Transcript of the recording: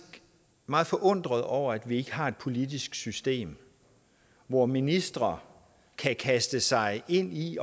meget forundret over at vi ikke har et politisk system hvor ministre kan kaste sig ind i